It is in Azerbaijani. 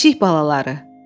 Pişik balaları.